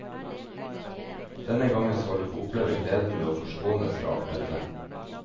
Denne gangen skal du få oppleve gleden ved å forskånes fra alt dette.